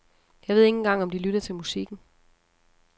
Jeg ved ikke engang om de lytter til musikken.